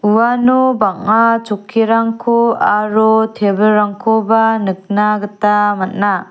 uano bang·a chokkirangko aro tebilrangkoba nikna gita man·a.